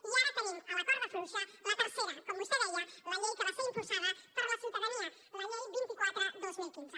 i ara tenim a la corda fluixa la tercera com vostè deia la llei que va ser impulsada per la ciutadania la llei vint quatre dos mil quinze